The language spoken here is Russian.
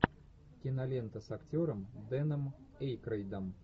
кинолента с актером дэном эйкройдом